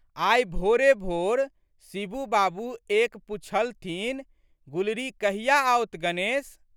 आइ भोरेभोर शिबू बाबू एक पुछथिन, गुलरी कहिया आओत गणेश?